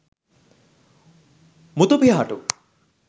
muthu pihatu